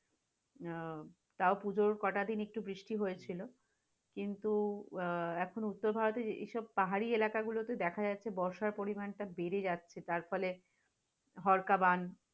আহ তাও পূজার কটা দিন একটু বৃষ্টি হয়েছিল, কিন্তু আহ এখন উত্তর ভারতের এসব পাহাড়ী এলাকাতে দেখাগুলোতে দেখা যাচ্ছে বর্ষার পরিমাণ বেড়ে যাচ্ছে, যার ফলে ধরকাবান